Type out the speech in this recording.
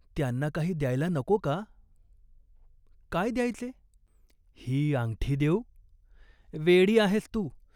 त्यांना काही द्यायला नको का ?" "काय द्यायचे ?" "ही आंगठी देऊ ?" "वेडी आहेस तू.